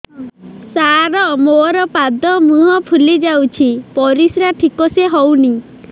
ସାର ମୋରୋ ପାଦ ମୁହଁ ଫୁଲିଯାଉଛି ପରିଶ୍ରା ଠିକ ସେ ହଉନି